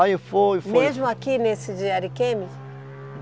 Aí foi... foi Mesmo aqui nesse de Ariquemes?